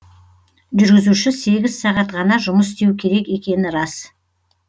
жүргізуші сегіз сағат ғана жұмыс істеу керек екені рас